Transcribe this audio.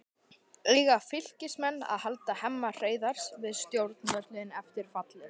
Eiga Fylkismenn að halda Hemma Hreiðars við stjórnvölinn eftir fallið?